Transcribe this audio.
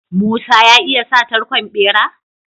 Musa ya iya sa tarkon bera?